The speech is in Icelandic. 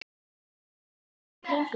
líttu í kringum þig